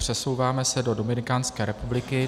Přesouváme se do Dominikánské republiky.